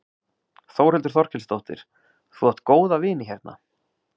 Þórhildur Þorkelsdóttir: Þú átt góða vini hérna?